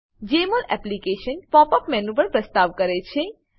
જમોલ application pop up menu પણ પ્રસ્તાવ કરે છે